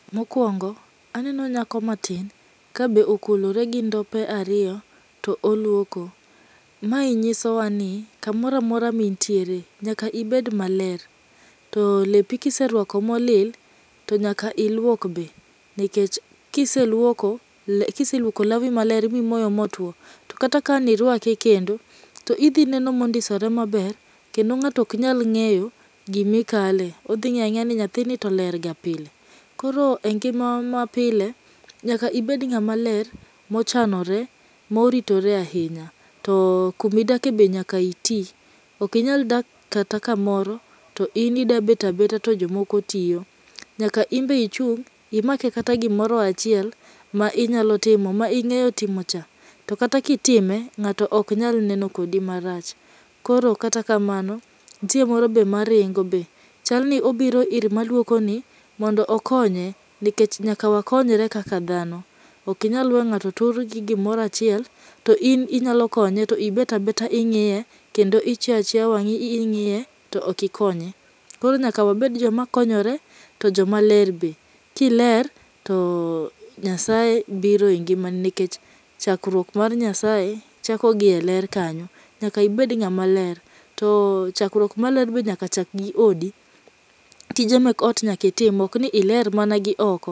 Mokuongo aneno nyako matin kabe okulore gindope ariyo, to oluoko. Mae nyisowa ni kamoro amotro ma intiere nyaka ibed maler. To lepi kiseruako molil to nyaka iluok be nikech kiseluoko kiseluoko lawi maler mimoyo motwo to kata kaniruake kendo to idhi neno mondisore maber kendo ng'ato oknyal ng'eyo gima ikale. Odhi ng'ey ang'eya ni nyathini to ler pile. Koro engima mapile nyaka ibed ng'ama ler, mochanore moritore ahinya. To kuma idake be nyaka iti. Ok inyal dak kata kamoro to in idwa bet abeta to jomoko tiyo. Nyaka in be ichung' imakie kata gimoro achiel ma inyalo timo ma ing'eyo timo cha. To kata kitime, ng'ato ok nyal neno kodi marach. To kata kamano nitie moro maringo be. Chal ni obiro ir maluokoni mondo okonye, nikech nyaka wakonyre kaka dhano. Ok inyal weyo ng'ato tur gi gimoro achiel to in ibet abeta ing'iye kendo ichiyo achiya wang'i ing'iye to ok ikonye. Koro nyaka wabed joma konyore to joma ler be. Ka iler to Nyasaye biro e ngimani nikech chakruok mar Nyasaye chako gi eler kanyo. Nyaka ibed ng'ama ler to chakruok mar ler be nyaka chak gi odi. Tije mag ot nyaka itim, ok ni iler mana gioko.